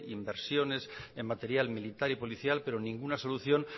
inversiones en material militar y policial pero ninguna solución